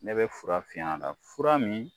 Ne bɛ fura finy'a la fura min